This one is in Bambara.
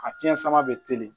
A fiɲɛ sama bɛ teli